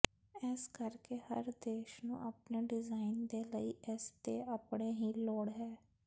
ਇਸ ਕਰਕੇ ਹਰ ਦੇਸ਼ ਨੂੰ ਆਪਣੇ ਡਿਜ਼ਾਇਨ ਦੇ ਲਈ ਇਸ ਦੇ ਆਪਣੇ ਹੀ ਲੋੜ ਹੈ